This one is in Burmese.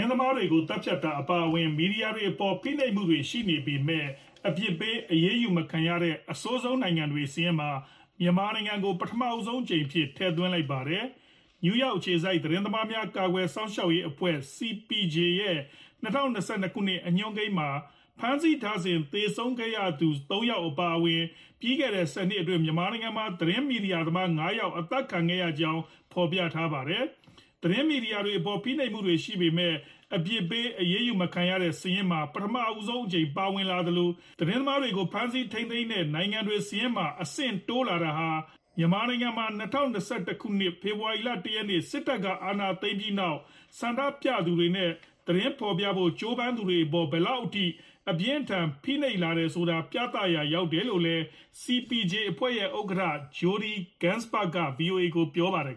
င်းသမားတွေကို သတ်ဖြတ်တာ အပါအဝင် မီဒီယာတွေအပေါ် ဖိနှိပ်မှုတွေ ရှိနေပေမဲ့ အပြစ်ပေး အရေးယူမခံရတဲ့ အဆိုးဆုံးနိုင်ငံတွေ စာရင်းမှာ မြန်မာနိုင်ငံကို ပထမဆုံးအကြိမ်အဖြစ် ထည့်သွင်းလိုက်ပါတယ်။ နယူးယောက် အခြေစိုက် သတင်းသမားများ ကာကွယ်စောင့်ရှောက်ရေးအဖွဲ့ (CPJ) ရဲ့ ၂၀၂၂ ခုနှစ် အညွှန်းကိန်းမှာ ဖမ်းဆီးထားစဉ် သေဆုံးခဲ့ရသူ ၃ ယောက် အပါအဝင် လွန်ခဲ့တဲ့ ၁၀ နှစ်အတွင်း မြန်မာနိုင်ငံမှာ သတင်းမီဒီယာသမား ၅ ယောက် အသတ်ခံခဲ့ရကြောင်း ဖော်ပြခဲ့တာပါ။ သတင်းမီဒီယာတွေအပေါ် ဖိနှိပ်မှုတွေ ရှိပေမဲ့ အပြစ်ပေးအရေးယူမခံရတဲ့ စာရင်းမှာ ပထမဆုံးအကြိမ် ပါဝင်လာသလို၊ သတင်းသမားတွေကို ဖမ်းဆီးထိန်းသိမ်းမှုတွေများတဲ့ နိုင်ငံတွေ စာရင်းမှာ အဆင့်တိုးလာတာတွေဟာ မြန်မာနိုင်ငံမှာ ၂၀၂၁ ခုနှစ် ဖေဖော်ဝါရီလ ၁ ရက်နေ့ စစ်တပ်က အာဏာသိမ်းပြီးနောက် ဆန္ဒပြသူတွေနဲ့ သတင်းဖော်ပြဖို့ ကြိုးပမ်းသူတွေအပေါ် ဘယ်လောက်အထိ အပြင်းအထန် ဖိနှိပ်လာတယ်ဆိုတာ ပြသရာ ရောက်တယ်လို့လည်း CPJ အဖွဲ့ရဲ့ ဥက္ကဌ Jodie Ginsberg က VOA ကို ပြောပါတယ်